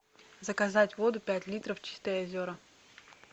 заказать воду пять литров чистые озера